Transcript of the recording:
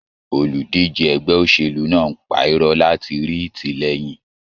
Olùdíje ẹgbẹ́ òṣèlú náà ń pa irọ́ láti rí ìtìlẹyìn.